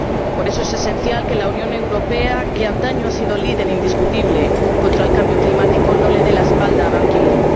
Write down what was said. Por eso, es esencial que la Unión Europea, que antaño ha sido líder indiscutible contra el cambio climático, no le dé la espalda a Ban Ki moon.